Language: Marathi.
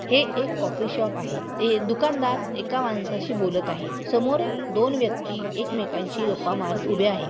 हे एक कॉफी शॉप आहे. ते एक दुकानदार एका माणसाशी बोलत आहे. समोर दोन व्यक्ति एकमेकांशी गप्पा मारत ऊभे आहेत.